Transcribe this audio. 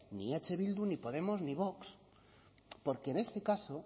ni eh bildu ni podemos ni vox porque en este caso